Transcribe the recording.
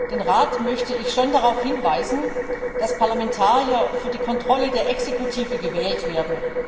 Den Rat möchte ich schon darauf hinweisen, dass Parlamentarier für die Kontrolle der Exekutive gewählt werden.